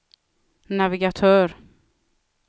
navigatör